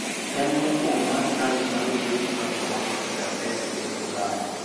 Tem mokwongo mar chanjo mar midhusi mar korona ochakre e piny Ulaya